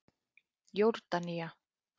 Jórdanía